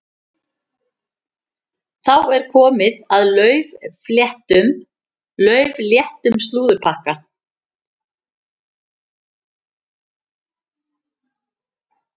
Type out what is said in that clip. Þá er komið að laufléttum slúðurpakka.